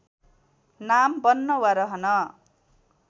नाम बन्न वा रहन